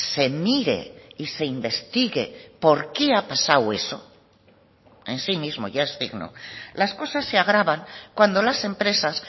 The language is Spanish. se mire y se investigue por qué ha pasado eso en sí mismo ya es digno las cosas se agravan cuando las empresas